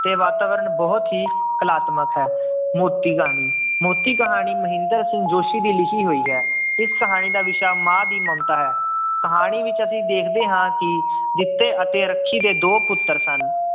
ਤੇ ਵਾਤਾਵਰਨ ਬਹੁਤ ਹੀ ਕਲਾਤਮਕ ਹੈ, ਮੋਤੀ ਕਹਾਣੀ ਮੋਤੀ ਕਹਾਣੀ ਮਹਿੰਦਰ ਸਿੰਘ ਜੋਸ਼ੀ ਦੀ ਲਿਖੀ ਹੋਈ ਹੈ ਇਸ ਕਹਾਣੀ ਦਾ ਵਿਸ਼ਾ ਮਾਂ ਦੀ ਮਮਤਾ ਹੈ, ਕਹਾਣੀ ਵਿੱਚ ਅਸੀਂ ਦੇਖਦੇ ਹਾਂ ਕਿ ਜਿੱਤੇ ਅਤੇ ਰੱਖੀ ਦੇ ਦੋ ਪੁੱਤਰ ਸਨ।